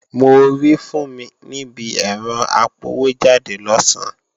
Mo rí Fúnmi níbi ẹ̀rọ apọwójáde lọ̀sán